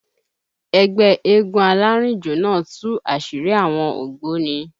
Ẹgbẹ́ eégún alárìnjó náà tú àṣírí àwọn ògbóni